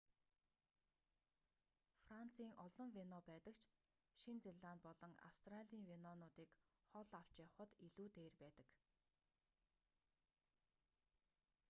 францын олон вино байдаг ч шинэ зеланд болон австралийн винонуудыг хол авч явахад илүү дээр байдаг